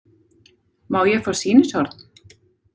Má ég fá sýnishorn?